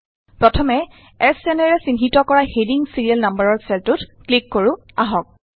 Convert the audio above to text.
প্ৰথমে S N ৰে চিহ্নিত কৰা হেডিং ছিৰিয়েল নাম্বাৰৰ চেলটোত ক্লিক কৰো আহক